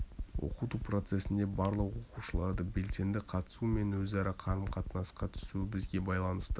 оқыту процесінде барлық оқушыларды белсенді қатысуы мен өзара қарым-қатынасқа түсуі бізге байланысты